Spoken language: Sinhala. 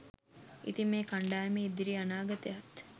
ඉතින් මේ කණ්ඩායමේ ඉදිරි අනාගතයත්